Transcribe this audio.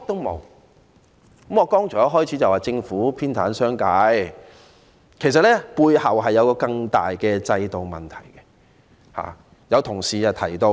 我剛才開始發言時指政府偏袒商界，其實背後涉及更大的制度問題。